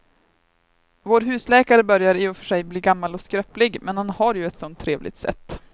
Vår husläkare börjar i och för sig bli gammal och skröplig, men han har ju ett sådant trevligt sätt!